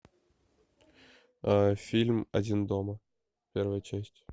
фильм один дома первая часть